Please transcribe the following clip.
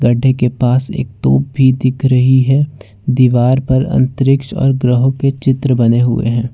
के पास एक तोप भी दिख रही है दीवार पर अंतरिक्ष और ग्रहों के चित्र बने हुए है।